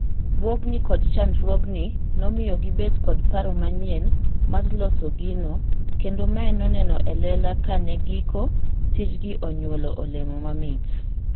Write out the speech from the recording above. Bwogni kod chandruogni nomiyo gibet kod paro manyien mar loso gino kendo mae noneno elela kane giko tijgi onyuolo olemo mamit.